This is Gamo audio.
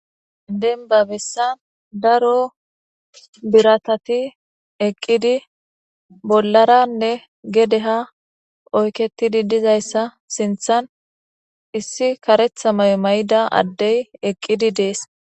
Denba bessan daro biratati eqidinne bolara gedde ha oyqetidi dizayissa sinthan iss adey eqidi des